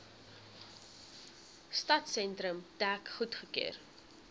stadsentrum dek goedgekeur